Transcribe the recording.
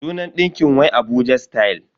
Sunan ɗinkin wai Abuja style.